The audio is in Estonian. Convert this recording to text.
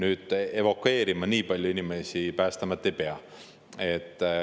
Aga evakueerima nii palju inimesi Päästeamet ei pea.